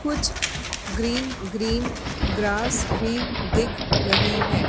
कुछ green green grass भी दिख रही है।